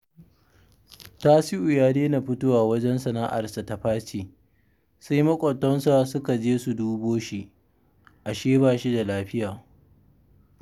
Tasi'u ya daina fitowa wajen sana'arsa ta faci, sai maƙwabtansa suka je su dubo shi, ashe ba shi da lafiya